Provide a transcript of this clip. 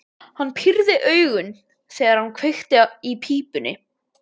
Hann pírði augun, þegar hann kveikti í pípunni.